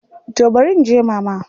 To barin je Mama.